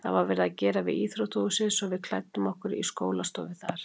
Það var verið að gera við íþróttahúsið svo við klæddum okkur í skólastofu þarna.